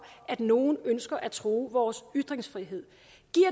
at nogle ønsker at true vores ytringsfrihed